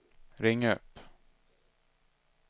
ring upp